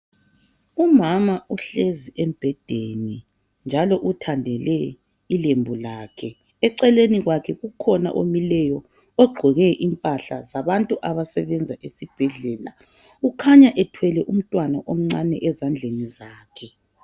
Umama uhlezi embhedeni njalo uthandele ilembu lakhe .Eceleni kwakhe kukhona omileyo ogqoke impahla zabantu abasebenza esibhedlela .Kukhanya ethwele umntwana omncane ezandleni zakhe